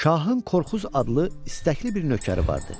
Şahın Korkuz adlı istəkli bir nökəri vardı.